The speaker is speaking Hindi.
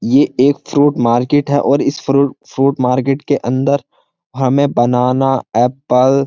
ये एक फ्रूट मार्केट है और इस फ्रूट फ्रूट मार्केट के अंदर हमें बनाना एप्पल --